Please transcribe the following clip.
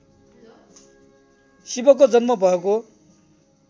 शिवको जन्म भएको